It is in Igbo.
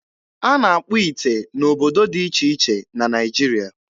A na-akpụ ite n'obodo dị iche iche na Naịjiria.